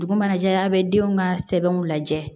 Dugu mana jɛ a' bɛ denw ka sɛbɛnw lajɛ